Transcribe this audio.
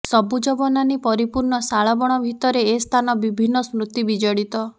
ସବୁଜ ବନାନୀ ପରିପୂର୍ଣ୍ଣ ଶାଳବଣ ଭିତରେ ଏ ସ୍ଥାନ ବିଭିନ୍ନ ସ୍ମତି ବିଜଡିତ